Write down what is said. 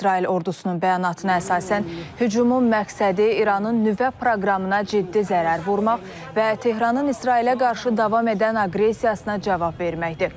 İsrail ordusunun bəyanatına əsasən hücumun məqsədi İranın nüvə proqramına ciddi zərər vurmaq və Tehranın İsrailə qarşı davam edən aqressiyasına cavab verməkdir.